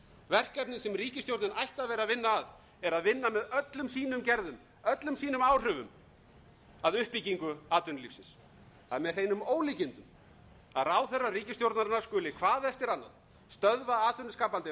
verkefnið sem ríkisstjórnin ætti að vera að vinna að er að vinna með öllum sínum gerðum öllum sínum áhrifum að uppbyggingu atvinnulífsins það er með hreinum ólíkindum að ráðherrar ríkisstjórnarinnar skuli hvað eftir annað stöðva atvinnuskapandi